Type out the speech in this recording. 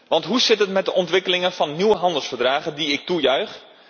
Want hoe zit het met de ontwikkeling van nieuwe handelsverdragen, die ik toejuich?